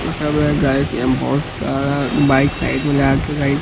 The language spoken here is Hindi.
बहोत सारा बाइक साइड में लगा के--